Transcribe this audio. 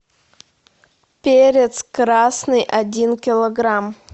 перец красный один килограмм